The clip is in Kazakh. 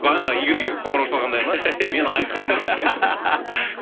бағана игорьге қоңырау шалғандай ма мен айқынмын